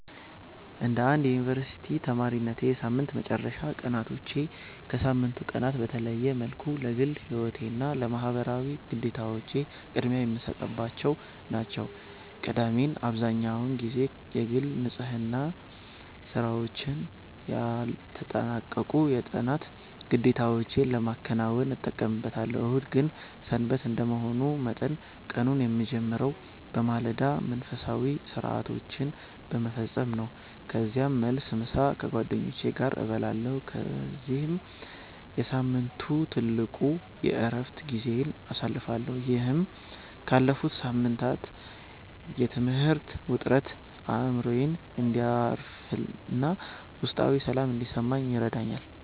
እንደ አንድ የዩኒቨርሲቲ ተማሪነቴ፣ የሳምንት መጨረሻ ቀናቶቼ ከሳምንቱ ቀናት በተለየ መልኩ ለግል ሕይወቴና ለማኅበራዊ ግዴታዎቼ ቅድሚያ የምሰጥባቸው ናቸው። ቅዳሜን አብዛህኛውን ጊዜ የግል ንጽሕና ሥራዎችና ያልተጠናቀቁ የጥናት ግዴታዎቼን ለማከናወን እጠቀምበታለሁ። እሁድ ግን "ሰንበት" እንደመሆኑ መጠን፣ ቀኑን የምጀምረው በማለዳ መንፈሳዊ ሥርዓቶችን በመፈጸም ነው። ከዚያም መልስ፣ ምሳ ከጓደኞቼ ጋር እበላለሁ በዚህም የሳምንቱ ትልቁ የዕረፍት ጊዜዬን አሳልፋለሁ። ይህም ካለፈው ሳምንት የትምህርት ውጥረት አእምሮዬ እንዲያርፍና ውስጣዊ ሰላም እንዲሰማኝ ይረዳኛል።